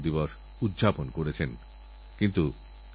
আমি আনন্দিত যে এব্যাপারে মানুষের যথেষ্ট আগ্রহ আছে